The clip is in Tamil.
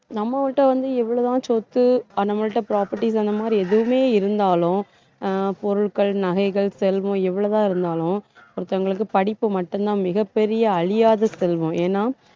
நம்மள்ட்ட வந்து எவ்வளவுதான் சொத்து நம்மள்ட்ட properties அந்த மாதிரி எதுவுமே இருந்தாலும் அஹ் பொருட்கள் நகைகள் செல்வம் எவ்வளவு தான் இருந்தாலும் ஒருத்தவங்களுக்கு படிப்பு மட்டும்தான் மிகப் பெரிய அழியாத செல்வம். ஏன்னா